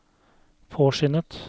påskyndet